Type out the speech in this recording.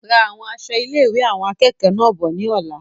Ra àwọn aṣọ ilé-ìwé awọn akẹẹkọ náà bọ̀ ní ọ̀la